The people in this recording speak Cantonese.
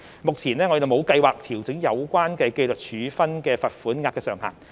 目前，我們沒有計劃調整有關的紀律處分罰款額上限。